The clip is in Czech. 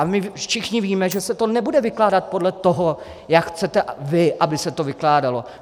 A my všichni víme, že se to nebude vykládat podle toho, jak chcete vy, aby se to vykládalo.